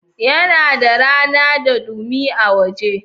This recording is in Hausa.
Yana da rana da dumi a waje.